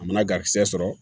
A mana garisɛgɛ sɔrɔ